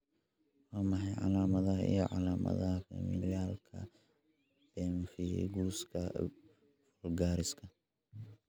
Waa maxay calaamadaha iyo calaamadaha Familialka pemphiguska vulgariska?